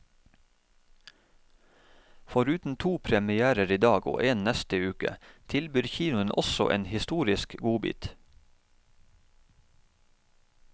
Foruten to premierer i dag, og en neste uke, tilbyr kinoen også en historisk godbit.